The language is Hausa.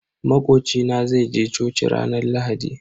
Makoci na zai je coci ranar Lahadi.